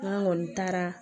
N'an kɔni taara